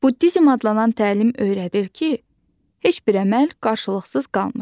Buddizm adlanan təlim öyrədir ki, heç bir əməl qarşılıqsız qalmır.